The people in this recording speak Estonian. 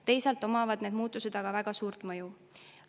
Teisalt omavad need muutused aga väga suurt mõju.